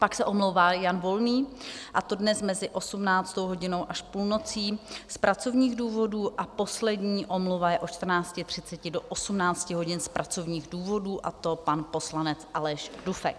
Pak se omlouvá Jan Volný, a to dnes mezi 18. hodinou až půlnocí z pracovních důvodů a poslední omluva je od 14.30 do 18 hodin z pracovních důvodů, a to pan poslanec Aleš Dufek.